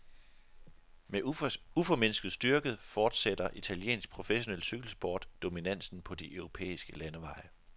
Med uformindsket styrke fortsætter italiensk professionel cykelsport dominansen på de europæiske landeveje.